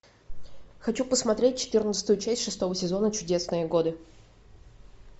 хочу посмотреть четырнадцатую часть шестого сезона чудесные годы